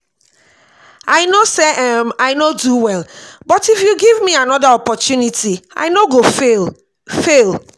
i know say um i no do well but if you give me another opportunity i no go fail fail